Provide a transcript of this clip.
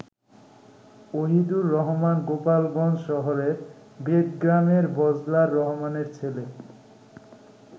ওহিদুর রহমান গোপালগঞ্জশহরের বেদগ্রামের বজলার রহমানের ছেলে।